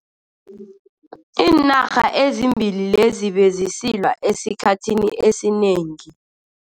Iinarha ezimbili lezi bezisilwa esikhathini esinengi.